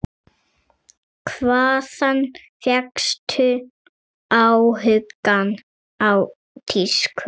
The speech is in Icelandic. Hvaðan fékkstu áhugann á tísku?